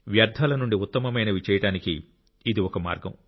వ్యర్థాల నుండి ఉత్తమమైనవి చేయడానికి ఇది ఒక మార్గం